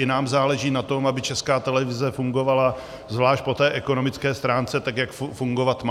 I nám záleží na tom, aby Česká televize fungovala zvlášť po té ekonomické stránce tak, jak fungovat má.